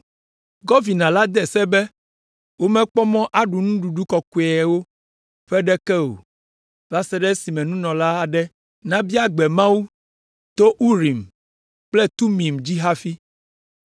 Gɔvina la de se be womekpɔ mɔ aɖu nuɖuɖu kɔkɔeawo ƒe ɖeke o va se ɖe esime nunɔla aɖe nabia gbe Mawu to Urim kple Tumim dzi hafi.